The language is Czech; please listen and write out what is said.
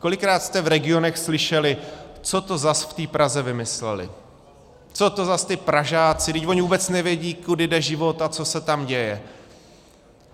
Kolikrát jste v regionech slyšeli, co to zas v té Praze vymysleli, co to zas ti Pražáci, vždyť oni vůbec nevědí, kudy jde život a co se tam děje.